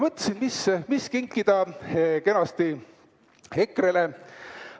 Mõtlesin, mida kenat kinkida EKRE-le.